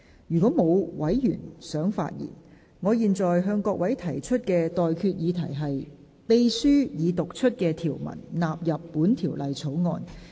如果沒有委員想發言，我現在向各位提出的待決議題是：秘書已讀出的條文納入本條例草案。